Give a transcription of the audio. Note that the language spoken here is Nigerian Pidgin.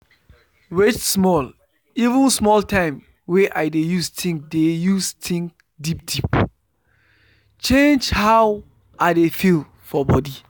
wait small even small time wey i dey use think dey use think deep deep change how i dey feel for body.